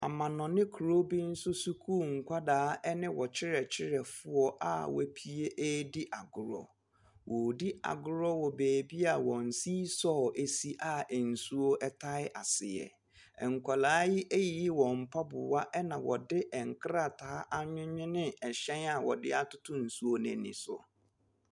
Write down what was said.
Amanɔne kuro bi so sukuu nkwadaa ne wɔn kyerɛkyerɛfo a wɔapue redi agorɔ, wɔredi agorɔ wɔ beebi a wɔn seesaw si a nsuo tae aseɛ, nkwadaa yi ayiyi wɔn mpaboa na wɔde nkrataa awewene hyɛn a wɔde atoto nsuo n’ani so.